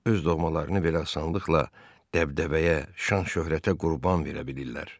Öz doğmalarını belə asanlıqla dəbdəbəyə, şan-şöhrətə qurban verə bilirlər.